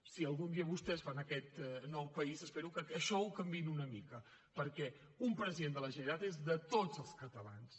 si algun dia vostès fan aquest nou país espero que això ho canviïn una mica perquè un president de la generalitat és de tots els catalans